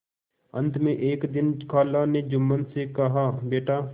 अंत में एक दिन खाला ने जुम्मन से कहाबेटा